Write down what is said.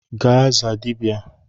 Gaa zaa dibia!